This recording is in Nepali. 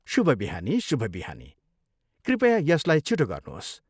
शुभ बिहानी, शुभ बिहानी, कृपया यसलाई छिटो गर्नुहोस्।